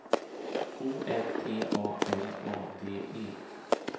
O M T A L A D E